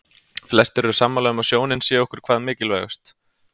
Flestir eru sammála um að sjónin sé okkur hvað mikilvægust.